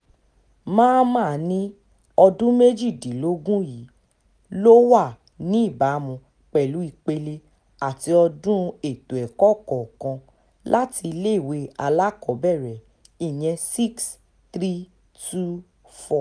mamman ní ọdún méjìdínlógún yìí ló wà níbàámu pẹ̀lú ìpele àti ọdún ètò ẹ̀kọ́ kọ̀ọ̀kan láti iléèwé alákọ̀ọ́bẹ̀rẹ̀ ìyẹn six - three - two - four